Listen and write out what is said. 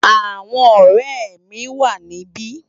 Awòn òrè mi wá nibi